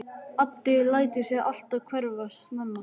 Addi lætur sig alltaf hverfa snemma.